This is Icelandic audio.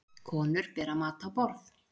Konur bera mat á borð